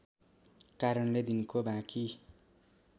कारणले दिनको बाँकी